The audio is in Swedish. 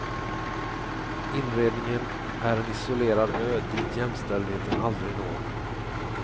Inredningen är en isolerad ö dit jämställdheten aldrig når.